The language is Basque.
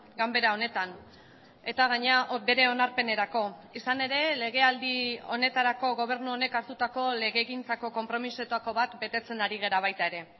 ganbera honetan eta gainera bere onarpenerako izan ere legealdi honetarako gobernu honek hartutako legegintzako konpromisoetako bat betetzen ari gara baita ere